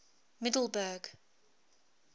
middelburg